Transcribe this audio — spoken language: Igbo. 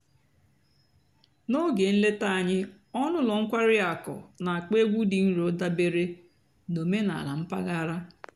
n'óge ǹlétá ànyị́ ọ̀nú́ ụ́lọ́ ǹkwàrí àkụ́ nà-àkpọ́ ègwú dị́ ǹrò dàbèré nà òménàlà m̀pàghàrà.